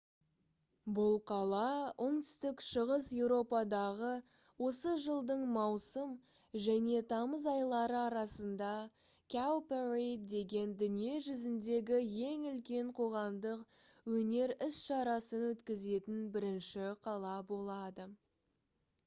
бұл қала оңтүстік шығыс еуропадағы осы жылдың маусым және тамыз айлары арасында «cowparade» деген дүние жүзіндегі ең үлкен қоғамдық өнер іс-шарасын өткізетін бірінші қала болады